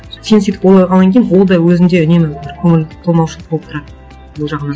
сен сөйтіп ойлағаннан кейін ол да өзінде үнемі бір көңіл толмаушылық болып тұрады бұл жағынан